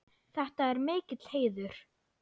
Þetta er mikill heiður.